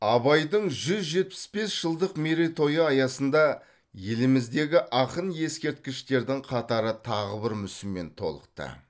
абайдың жүз жетпіс бес жылдық мерейтойы аясында еліміздегі ақын ескерткіштердің қатары тағы бір мүсінмен толықты